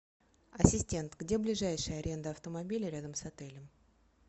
ассистент где ближайшая аренда автомобилей рядом с отелем